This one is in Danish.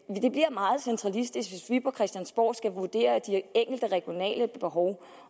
meget centralistisk hvis vi på christiansborg skulle vurdere de enkelte regionale behov